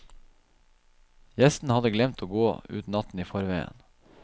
Gjesten hadde glemt å gå ut natten i forveien.